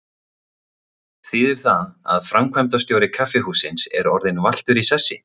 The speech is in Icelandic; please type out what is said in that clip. Þýðir það að framkvæmdastjóri kaffihússins er orðinn valtur í sessi?